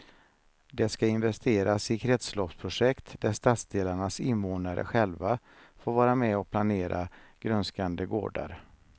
Det ska investeras i kretsloppsprojekt där stadsdelarnas invånare själva får vara med och planera grönskande gårdar.